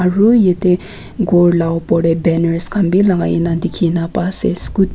aru yetey gor la opor tey banners khan bhi lagai na dikhina pai sey.